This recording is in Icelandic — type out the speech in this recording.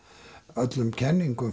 öllum kenningum